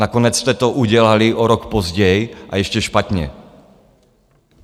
Nakonec jste to udělali o rok později, a ještě špatně.